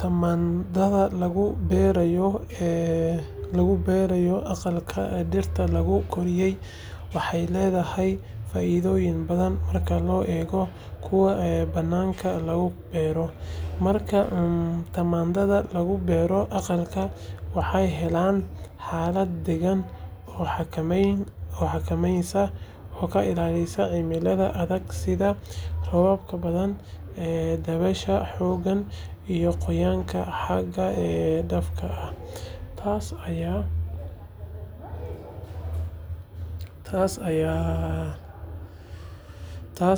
Tamaandhada lagu beeray aqalka dhirta lagu koriyo waxay leedahay faa’iidooyin badan marka loo eego kuwa bannaanka lagu beero. Marka tamaandhada lagu beero aqalka, waxay helaan xaalad deegaan oo xakameysan oo ka ilaalisa cimilada adag sida roobabka badan, dabaysha xooggan iyo qoyaanka xad dhaafka ah. Taas